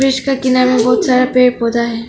इसका किनारे बहुत सारा पेड़ पौधा है।